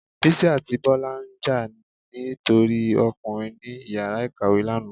Bisí atí Bola njà ni tori Ọkùnrin ni ìyára ìkàwé lana